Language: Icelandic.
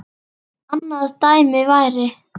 annað dæmi væri